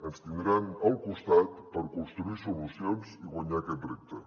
ens tindran al costat per construir solucions i guanyar aquest repte